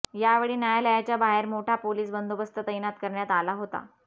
यावेळी न्यायालयाच्या बाहेर मोठा पोलीस बंदोबस्त तैनात करण्यात आला होता